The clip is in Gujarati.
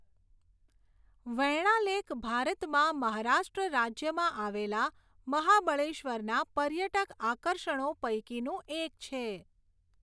વેણ્ણા લેક ભારતમાં મહારાષ્ટ્ર રાજ્યમાં આવેલા મહાબળેશ્વરના પર્યટક આકર્ષણો પૈકીનું એક છે.